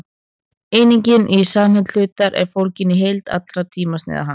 einingin í samsemd hlutar er fólgin í heild allra tímasneiða hans